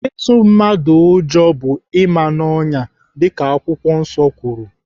Ịtụ mmadụ ụjọ bụ ịma n'ọnyà dịka Baịbụl kwuru.